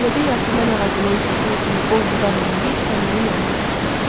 Beləcə Yasəmən ağacının kökünə kimi qol budaq eləyib təndirin yanına daşıdı.